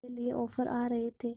के लिए ऑफर आ रहे थे